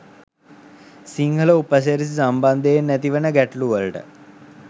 සිංහල උපසිරැසි සම්බන්ධයෙන් ඇතිවන ගැටළුවලට